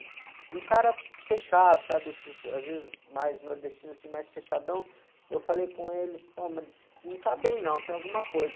E o cara fechado, sabe, esses, às vezes mais nordestino, assim, mais fechadão, eu falei com ele, pô, mas não está bem não, tem alguma coisa.